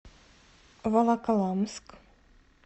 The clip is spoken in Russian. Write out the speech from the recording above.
волоколамск